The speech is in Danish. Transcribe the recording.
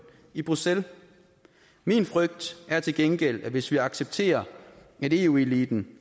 i bruxelles min frygt er til gengæld at hvis vi accepterer at eu eliten